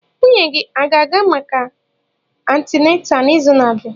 Nwunye gị a ga-aga maka antịnátà n'izu na-abịa?